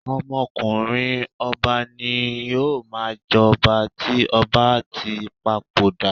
Ọmọkùnrin ọba ni ó máa ń jọba tí ọba bá tí papoda.